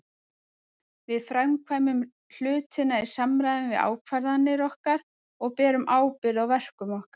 Við framkvæmum hlutina í samræmi við ákvarðanir okkar og berum ábyrgð á verkum okkar.